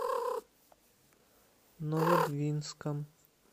новодвинском